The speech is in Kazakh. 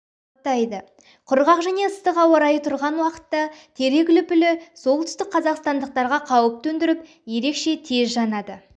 қаптайды құрғақ және ыстық ауа-райы тұрған уақытта терек үліпілі солтүстік қазақстандықтарға қауіп төндіріп ерекше тез жанады